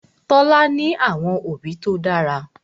Tola ní àwọn òbí tó dára.